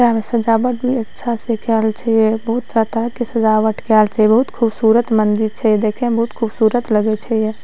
यहां पे सजावट भी बहुत अच्छा से कायल छै या बहुत प्रकार के सजावट कायल छै बहुत खूबसूरत मन्दिर छै देखे में बहुत खूबसूरत लगे छै या।